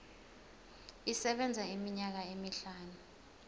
isebenza iminyaka emihlanu